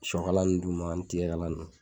Sokala nu d'u ma ani tigɛ kala nunnu